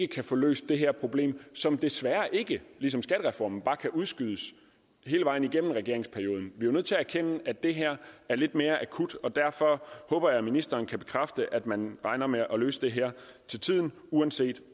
kan få løst det her problem som desværre ikke ligesom skattereformen bare kan udskydes hele vejen igennem regeringsperioden vi er jo nødt til at erkende at det her er lidt mere akut og derfor håber jeg at ministeren kan bekræfte at man regner med at løse det her til tiden uanset